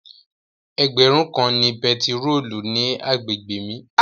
Ẹgbẹ̀rún kan ni bẹntiróòlù ní àgbègbè mi.